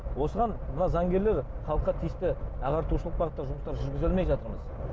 осыған мына заңгерлер халыққа тиісті ағартушылық бағытта жұмыстар жүргізе алмай жатырмыз